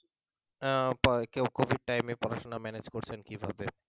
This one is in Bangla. আহ কোভিড টাইমে পড়াশোনা ম্যানেজ করছেন কিভাবে